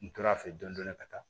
N tora fɛ dɔni dɔni ka taa